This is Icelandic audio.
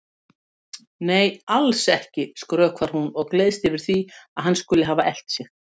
Nei, alls ekki, skrökvar hún og gleðst yfir því að hann skuli hafa elt sig.